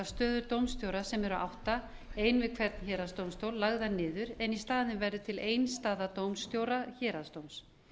stöður dómstjóra sem eru átta ein við hvern héraðsdómstól lagðar niður en í staðinn verði til ein staða dómstjóra héraðsdóms